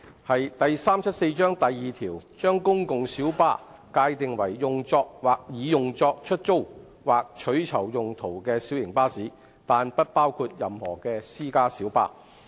第374章第2條將"公共小巴"界定為"用作或擬用作出租或取酬用途的小型巴士，但不包括任何私家小巴"。